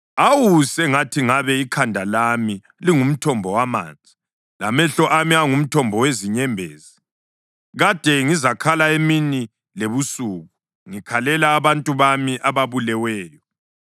Awu, sengathi ngabe ikhanda lami lingumthombo wamanzi, lamehlo ami angumthombo wezinyembezi! Kade ngizakhala emini lebusuku ngikhalela abantu bami ababuleweyo.